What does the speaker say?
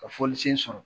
Ka fɔli sen sɔrɔ